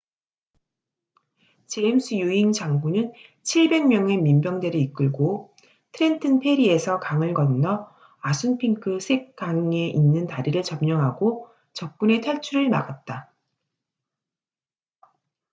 제임스 유잉 장군은 700명의 민병대를 이끌고 트렌튼 페리에서 강을 건너 아순핑크 샛강에 있는 다리를 점령하고 적군의 탈출을 막았다